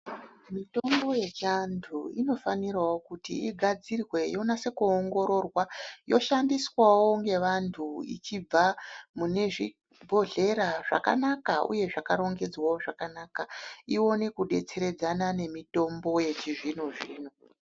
Mitombo yechantu inofanirawo kuti igadzirwe yonase kuwongororwa, yoshandiswawo ngevantu ichibva munezvibhodhlera zvakanaka uye zvakarongedzvawo zvakanaka, iwane kudetseredzana nemitombo yechizvino zvino.